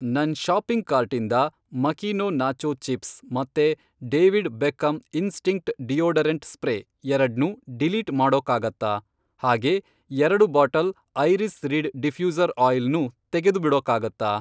ನನ್ ಷಾಪಿಂಗ್ ಕಾರ್ಟಿಂದ Makino nacho chips ಮತ್ತೆ David Beckham instinct deodorant spray ಎರಡ್ನೂ ಡಿಲೀಟ್ ಮಾಡೋಕ್ಕಾಗತ್ತಾ? ಹಾಗೇ ಎರಡು bottle iris reed diffuser oil ನೂ ತೆಗೆದುಬಿಡೋಕ್ಕಾಗತ್ತಾ?